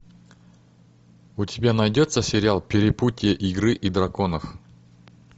у тебя найдется сериал перепутье игры и драконов